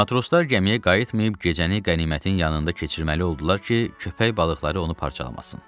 Matroslar gəmiyə qayıtmayıb gecəni qənimətin yanında keçirməli oldular ki, köpək balıqları onu parçalamasın.